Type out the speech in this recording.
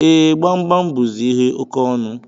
E, Gbamgbam buzi ihe oke ọnụ